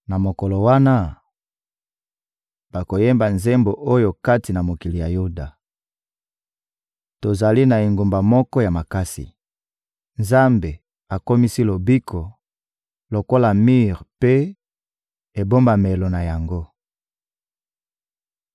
Na mokolo wana, bakoyemba nzembo oyo kati na mokili ya Yuda: Tozali na engumba moko ya makasi; Nzambe akomisi lobiko lokola mir mpe ebombamelo na yango.